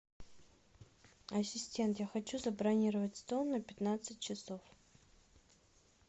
ассистент я хочу забронировать стол на пятнадцать часов